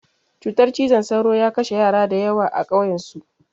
Cutar cizon sauro ya kashe yara da yawa a ƙauyan su